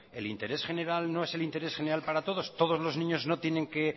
el interés general no es el interés general para todos todos los niños no tienen que